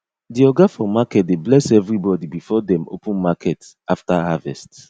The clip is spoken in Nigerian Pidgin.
the oga for market dey bless evrybody before dem open market after harvest